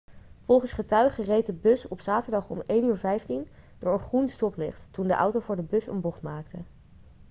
volgens getuigen reed de bus op zaterdag om 1.15 uur door een groen stoplicht toen de auto voor de bus een bocht maakte